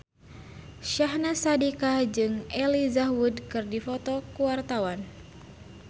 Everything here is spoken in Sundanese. Syahnaz Sadiqah jeung Elijah Wood keur dipoto ku wartawan